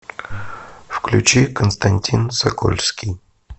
включи константин сокольский